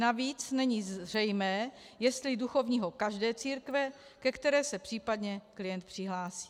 Navíc není zřejmé, jestli duchovního každé církve, ke které se případně klient přihlásí.